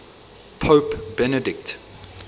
pope benedict